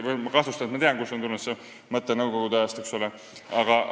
Tegelikult ma kahtlustan, et ma tean, kust see mõte on tulnud – nõukogude ajast.